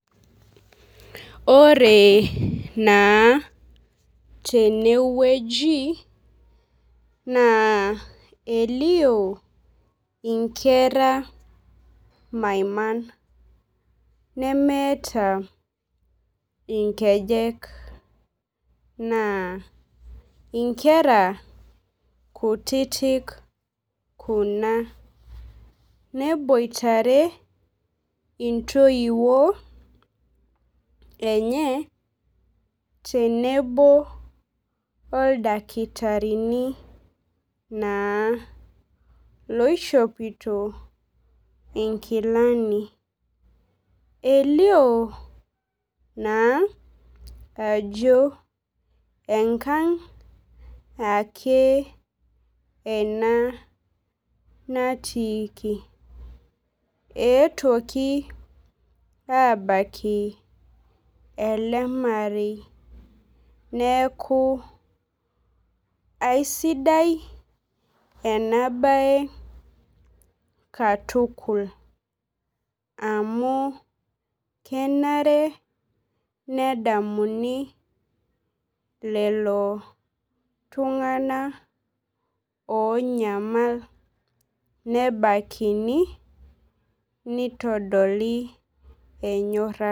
Ore naa teneweji naa elio inkera maiman nemeeta inkejek naa inkeran kutitik kuna neboitare intowuo enye tenebo oldakitarini loishopito inkilami. Elio naa ajo enkang' ake ena natiiki. Etuoki abaki ele marei. Neeku aisidai ena bae katukul amu kenare nedamuni lelo tung'ana onyamal nebakini nitodolu enyorara.